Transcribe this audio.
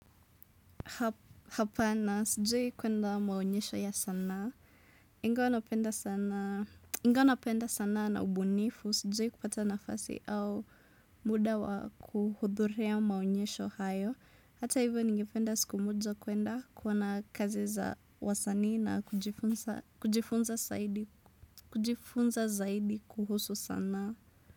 Hapana sijui kwenda maonyesho ya sanaa Ingawa napenda sanaa na ubunifu Sijui kupata nafasi au muda wa kuhudhuria maonyesho hayo Hata hivyo ningependa siku moja kwenda kuona kazi za wasanii na kujifunza zaidi kuhusu sanaa.